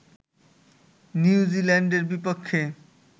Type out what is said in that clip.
new জিল্যান্ডের বিপক্ষে